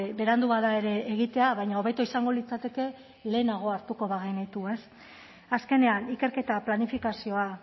berandu bada ere egitea baina hobeto izango litzateke lehenago hartuko bagenitu ez azkenean ikerketa planifikazioa